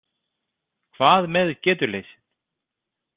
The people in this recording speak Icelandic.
Hvað með getuleysið?